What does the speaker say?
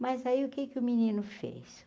Mas aí o que que o menino fez?